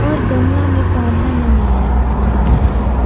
और गमला में पौधा लगाया हुआ है ।